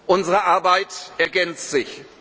Partner. Unsere Arbeit ergänzt